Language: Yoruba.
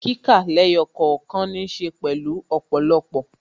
Kíkà lẹ́yọ̀ kọ̀ọ̀kan ní ṣe pẹ̀lú ọ̀pọ̀lọpọ̀